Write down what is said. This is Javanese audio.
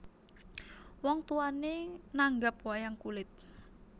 Wong tuwané nanggap wayang kulit